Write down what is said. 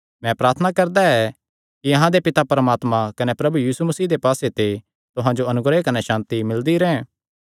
मैं प्रार्थना करदा ऐ कि अहां दे पिता परमात्मा कने प्रभु यीशु मसीह दे पास्से ते तुहां जो अनुग्रह कने सांति मिलदी रैंह्